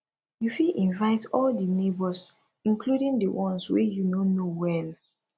you fit invite all di neighbors including di ones wey you no know well